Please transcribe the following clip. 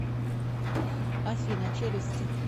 афина челюсти